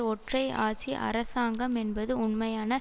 ஒற்றை ஆட்சி அரசாங்கம் என்பது உண்மையான